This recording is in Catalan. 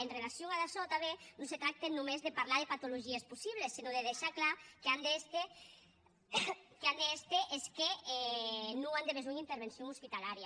en relacion damb açò tanben non se tracte sonque de parlar de patologies possibles senon de deishar clar qu’an d’èster es que non an de besonh intervencion espitalària